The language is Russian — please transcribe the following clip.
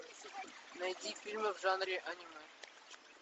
найди фильмы в жанре аниме